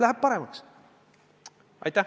Läheb paremaks!